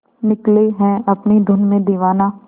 निकले है अपनी धुन में दीवाना